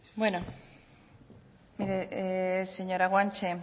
bueno señora guanche